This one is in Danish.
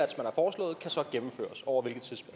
tror